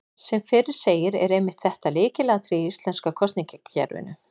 Sem fyrr segir er einmitt þetta lykilatriði í íslenska kosningakerfinu.